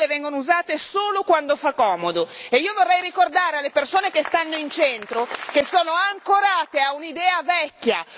Le regole vengono usate solo quando fa comodo e io vorrei ricordare alle persone che stanno in centro che sono ancorate a un'idea vecchia.